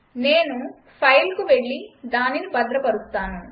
నేను ఫైల్కు వెళ్లి దానిని భద్రపరుస్తాను